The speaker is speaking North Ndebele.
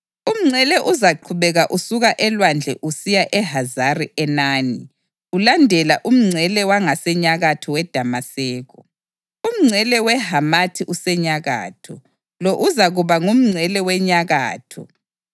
Umngcele uzaqhubeka usuka elwandle usiya eHazari-Enani ulandela umngcele wangasenyakatho weDamaseko, umngcele weHamathi usenyakatho. Lo uzakuba ngumngcele wenyakatho.